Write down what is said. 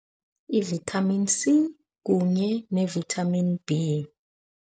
Ivithamini C kunye nevithamini B.